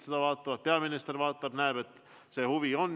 Kindlasti ka peaminister vaatab ja näeb, et see huvi on.